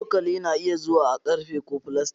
Cokali na iya zuwa a ƙarfe ko filastik.